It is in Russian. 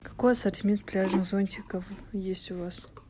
какой ассортимент пляжных зонтиков есть у вас